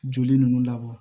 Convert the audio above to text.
Joli ninnu labɔ